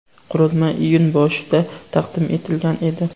Qurilma iyun boshida taqdim etilgan edi.